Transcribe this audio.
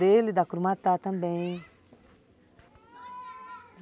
Dele e da crumatá também.